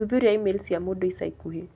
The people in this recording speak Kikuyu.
gũthuthuria e-mail cia mũndũ ica ikuhĩ